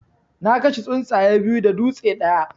Na kashe tsuntsaye biyu da dutse ɗaya.